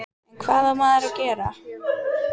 En hvað á maður að gera?